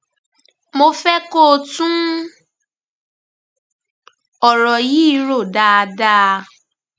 mo fẹ kó tún ọrọ yìí dà rò dáadáa